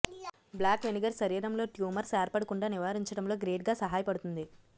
black vinegar శరీరంలో tumours ఏర్పడకుంటా నివారించడంలో గ్రేట్ గా సహాయపడుతుంది